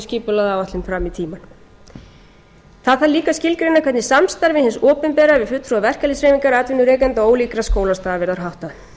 skipulagða áætlun fram í tímann það þarf líka að skilgreina hvernig samstarfi hins opinbera við fulltrúa verkalýðshreyfingar atvinnurekenda og ólíkra skólastiga verður háttað